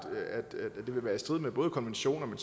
vil være i strid med både konventioner men